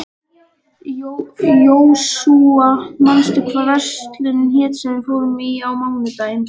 Jósúa, manstu hvað verslunin hét sem við fórum í á mánudaginn?